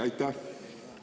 Teie aeg!